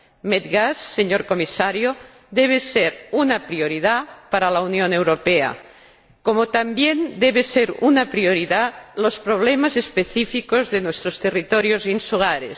Medgas, señor Comisario, debe ser una prioridad para la Unión Europea, como también deben ser una prioridad los problemas específicos de nuestros territorios insulares.